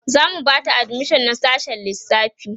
zamu Bata admission a sassshen lissafi